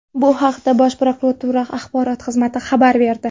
Bu haqda Bosh prokuratura axborot xizmati xabar berdi .